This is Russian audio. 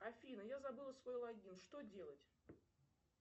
афина я забыла свой логин что делать